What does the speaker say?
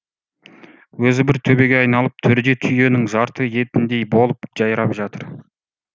өзі бір төбеге айналып төрде түйенің жарты етіндей болып жайрап жатыр